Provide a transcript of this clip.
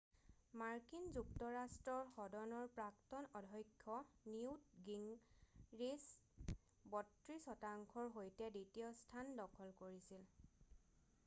মাৰ্কিন যুক্তৰাষ্ট্ৰৰ সদনৰ প্ৰাক্তন অধ্যক্ষ নিউৎ গিঙৰিচ 32 শতাংশৰ সৈতে দ্বিতীয় স্থান দখল কৰিছিল